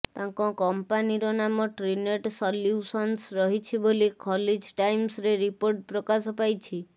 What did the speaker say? ତାଙ୍କ କମ୍ପାନିର ନାମ ଟ୍ରିନେଟ୍ ସଲ୍ୟୁସନ୍ସ ରହିଛି ବୋଲି ଖଲିଜ୍ ଟାଇମ୍ସରେ ରିପୋର୍ଟ ପ୍ରକାଶପାଇଛି